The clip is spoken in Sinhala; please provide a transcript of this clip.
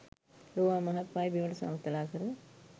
ලෝවාමහාපාය බිමට සමතලා කර